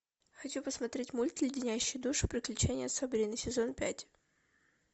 хочу посмотреть мульт леденящие душу приключения сабрины сезон пять